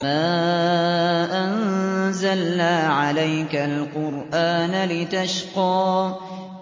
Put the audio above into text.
مَا أَنزَلْنَا عَلَيْكَ الْقُرْآنَ لِتَشْقَىٰ